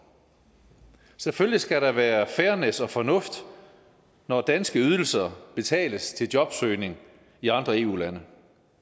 selvfølgelig skal der være fairness og fornuft når danske ydelser betales til jobsøgning i andre eu lande